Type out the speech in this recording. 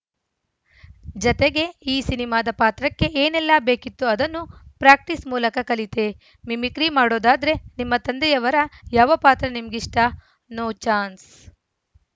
ಜತೆಗೆ ಈ ಸಿನಿಮಾದ ಪಾತ್ರಕ್ಕೆ ಏನೇಲ್ಲ ಬೇಕಿತ್ತೋ ಅದನ್ನು ಪ್ರಾಕ್ಟಿಸ್‌ ಮೂಲಕ ಕಲಿತೆ ಮಿಮಿಕ್ರಿ ಮಾಡೋದಾದ್ರೆ ನಿಮ್ಮ ತಂದೆಯವರ ಯಾವ ಪಾತ್ರ ನಿಮ್ಗಿಷ್ಟ ನೋ ಚಾನ್ಸ್‌